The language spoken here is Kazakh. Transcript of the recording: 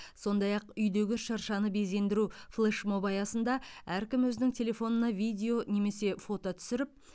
сондай ақ үйдегі шыршаны безендіру флешмобы аясында әркім өзінің телефонына видео немесе фото түсіріп